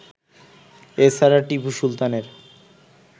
এ ছাড়া টিপু সুলতানের